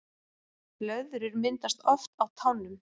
Blöðrur myndast oft á tánum